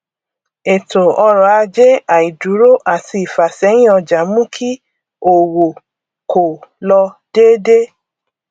ètòọrọajé àìdúró àti ìfásẹyín ọjà mú kí òwò kò lọ déédé